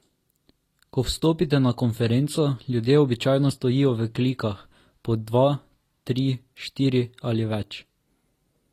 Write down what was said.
Ko vstopite na konferenco, ljudje običajno stojijo v klikah, po dva, tri, štiri ali več.